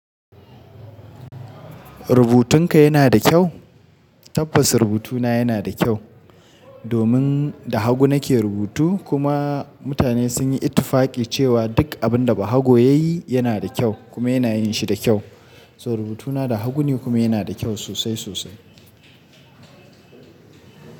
Rubutunka yana da kyau? Tabbas rubutuna yana da kyau domin da hagu nake rubutu kuma mutane sun yi ittufaqi cewa duk abin da bahago ya yi yana da kyau kuma yana yin shi da kyau. So rubutuna da hagu ne kuma yana da kyau sosai sosai.